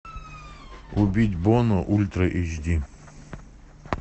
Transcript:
убить бона ультра эйч ди